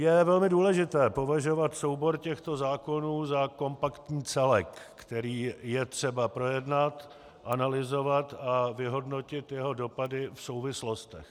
Je velmi důležité považovat soubor těchto zákonů za kompaktní celek, který je třeba projednat, analyzovat a vyhodnotit jeho dopady v souvislostech.